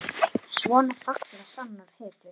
Svona falla sannar hetjur.